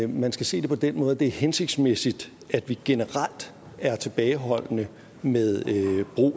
man skal se det på den måde at det er hensigtsmæssigt at vi generelt er tilbageholdende med